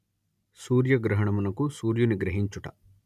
సూర్యగ్రహణమునకు సూర్యుని గ్రహించుట